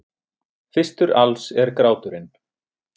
Fyrstur alls er gráturinn.